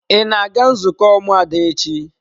Ị na-aga nzukọ ụmụada echi?